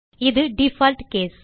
இது default case